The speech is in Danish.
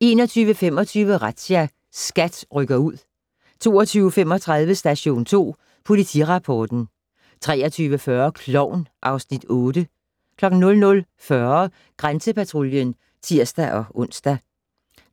21:25: Razzia - SKAT rykker ud 22:35: Station 2 Politirapporten 23:40: Klovn (Afs. 8) 00:40: Grænsepatruljen (tir-ons)